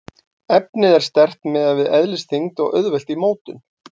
Efnið er sterkt miðað við eðlisþyngd og auðvelt í mótun.